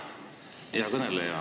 Hea kõneleja!